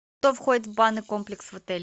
что входит в банный комплекс в отеле